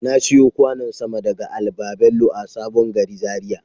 Na siyo kwanon sama daga al-babello a sabon gari Zaria.